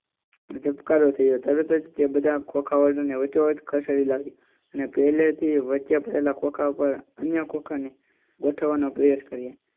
એને જબકાર્રો અને તરત જ તે બધા ખોંખાઓ ને વચ્ચો વચ્ચ ખસેડી લાવ્યો અને પેલેથી વચ્ચે પડેલા ખોખા ઉપર અન્ય ખોખા ગોઠવવાનો પ્રયાસ કર્યો.